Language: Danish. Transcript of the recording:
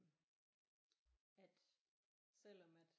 At selvom at